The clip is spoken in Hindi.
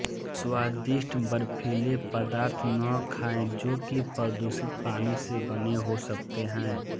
स्वादिष्ट बर्फीले पदार्थ न खाएं जो कि प्रदूषित पानी से बने हो सकते हैं